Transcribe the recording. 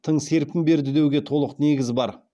тың серпін берді деуге толық негіз бар